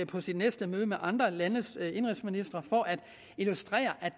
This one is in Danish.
på sit næste møde med de andre eu landes indenrigsministre for at illustrere at